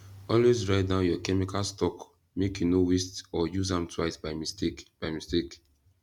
always write down your chemical stock make you no waste or use am twice by mistake by mistake